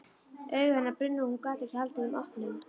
Augu hennar brunnu og hún gat ekki haldið þeim opnum.